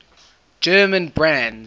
german brands